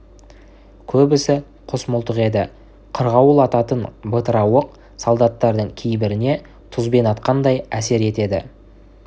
көбісі құс мылтық еді қырғауыл ататын бытыра оқ солдаттардың кейбіріне тұзбен атқандай әсер етеді